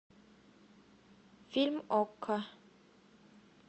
фильм окко